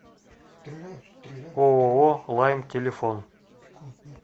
ооо лайм телефон